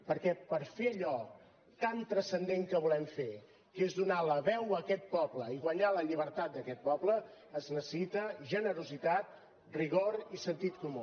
perquè per fer allò tan transcendent que volem fer que és donar la veu a aquest poble i guanyar la llibertat d’aquest poble es necessita generositat rigor i sentit comú